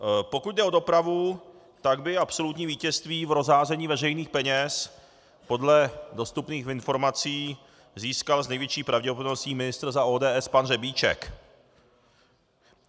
Pokud jde o dopravu, tak by absolutní vítězství v rozházení veřejných peněz podle dostupných informací získal s největší pravděpodobností ministr za ODS pan Řebíček.